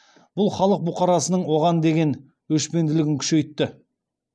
бұл халық бұқарасының оған деге өшпенділігін күшейтті